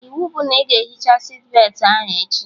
Iwu bụ na ị ga-ehicha sitbetị ahụ echi!